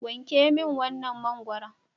Wanke min wannan mangwaron.